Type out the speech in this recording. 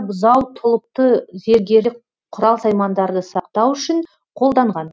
бұзау тұлыпты зергерлік құрал саймандарды сақтау үшін қолданған